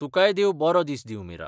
तुकाय देव बरो दीस दिवं मीरा.